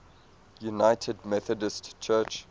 united methodist church